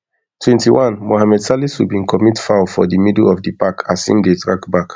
twenty-one mohammed salisu bin commit foul for di middle of di park as im dey track back